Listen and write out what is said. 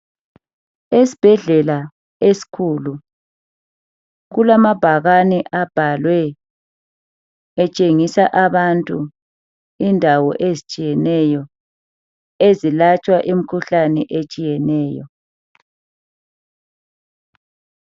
Esibhedlela esikhulu kulamabhakane abhaliwe etshengisa abantu Indawo ezitshiyeneyo ezilatshwa imikhuhlane etshiyeneyo